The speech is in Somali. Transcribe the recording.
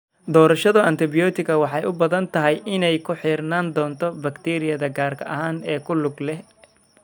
Doorashada antibiyootiga waxay u badan tahay inay ku xirnaan doonto bakteeriyada gaarka ah ee ku lug leh.